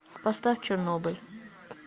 поставь чернобыль